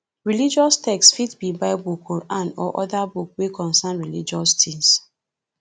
religious text fit be bible quran or oda book wey contain religious things